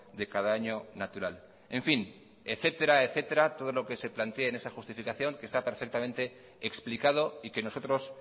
de cada año natural en fin etcétera etcétera todo lo que se plantee en esta justificación que está perfectamente explicado y que nosotros